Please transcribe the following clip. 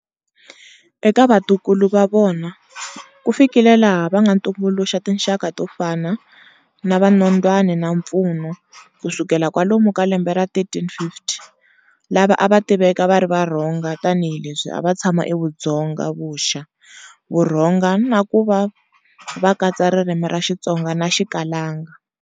Eka vatukulu va vona ku fikile laha va nga ntumbuluxa tinxaka to fana na va Nondwani na Mpfumo ku sukela kwalomu ka lembe ra 1350 lava a va tiveka va ri Varhonga tanihileswi a va tshama eVudzonga-vuxa Vurhonga, na kuva va katsa ririmi ra Xitonga na Xikalanga.